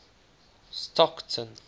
stockton